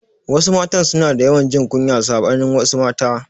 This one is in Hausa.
Wasu matan suna da yawan jin kunya saɓanin wasu mata